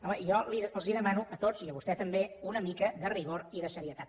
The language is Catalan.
home jo els demano a tots i a vostè també una mica de rigor i de seriositat